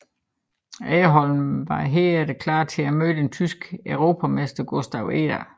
Aggerholm var herefter klar til at møde den tyske europamester Gustav Eder